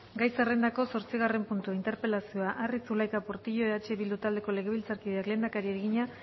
gai zerrendako zortzigarren puntua interpelazioa arri zulaika portillo eh bildu taldeko legebiltzarkideak lehendakariari egina